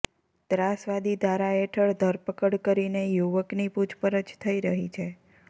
ત્રાસવાદી ધારા હેઠળ ધરપકડ કરીને યુવકની પુછપરછ થઈ રહી છે